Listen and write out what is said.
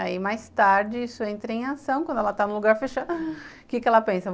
Aí mais tarde isso entra em ação, quando ela está no lugar fechado, o que ela pensa?